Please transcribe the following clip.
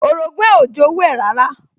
Orogún ẹ̀ ò jowú ẹ̀ rárá